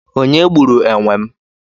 onye gburu enwem?